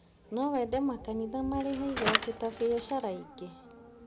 No wende makanitha marĩhe igoti ta biacara ingĩ?